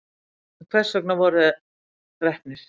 en hvers vegna voru þeir drepnir